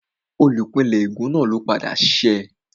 Olùpìnlẹ́ ègún náà ló padà ṣẹ́